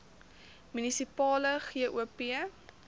munisipale gop